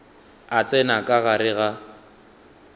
a tsena ka gare ga